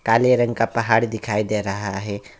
हरे रंग का पहाड़ दिखाई दे रहा है।